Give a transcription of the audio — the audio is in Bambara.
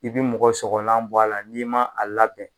I bi mɔgɔ sɔgɔlan bɔ a la n'i ma a labɛn